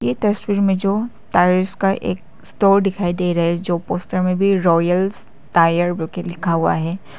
ये तस्वीर में जो टायर्स का एक स्टोर दिखाई दे रहा है जो पोस्टर में भी रॉयल्स टायर करके लिखा हुआ है।